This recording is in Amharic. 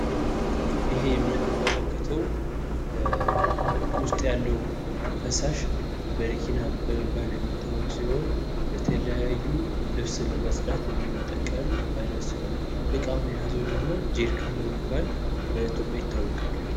ይህ የምንመለከተው ውስጡ ያለው ፈሳሽ በረኪና በመባል የሚታወቅ ሲሆን የተለያዩ ልብስ ለማፅዳት የምንጠቀመው አይነት ። እቃውን የያዘው ደግሞ ጄሪካን በመባል በኢትዮጵያ ይታወቃል።